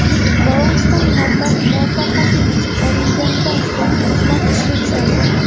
Balansdan mablag‘ muvaffaqiyatli yechib olinganidan so‘ng xizmat ishga tushadi.